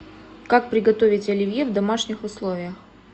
как приготовить оливье в домашних условиях